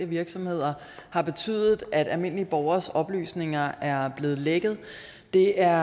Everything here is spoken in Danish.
virksomheder har betydet at almindelige borgeres oplysninger er blevet lækket det er